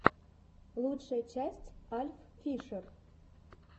лучшая часть альффишер